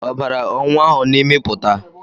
Ọbara o nwa ahụ n'imi pụta?